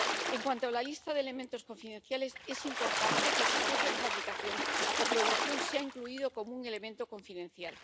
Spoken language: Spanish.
En cuanto a la lista de elementos confidenciales, es importante que el proceso de fabricación o producción sea incluido como un elemento confidencial.